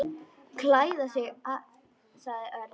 Klæða sig sagði Örn.